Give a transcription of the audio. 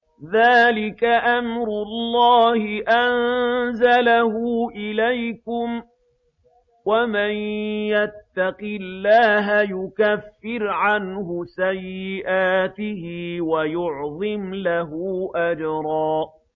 ذَٰلِكَ أَمْرُ اللَّهِ أَنزَلَهُ إِلَيْكُمْ ۚ وَمَن يَتَّقِ اللَّهَ يُكَفِّرْ عَنْهُ سَيِّئَاتِهِ وَيُعْظِمْ لَهُ أَجْرًا